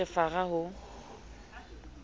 ha ke re fara ho